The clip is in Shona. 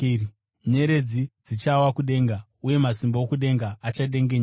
nyeredzi dzichawa kudenga, uye masimba okudenga achadengenyeka.’